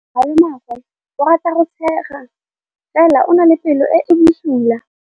Malomagwe o rata go tshega fela o na le pelo e e bosula.